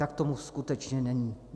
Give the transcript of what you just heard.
Tak tomu skutečně není.